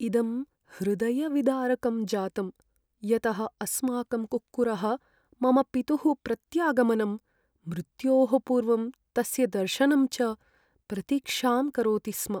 इदं हृदयविदारकं जातम्, यतः अस्माकं कुक्कुरः मम पितुः प्रत्यागमनं, मृत्योः पूर्वं तस्य दर्शनं च प्रतीक्षां करोति स्म।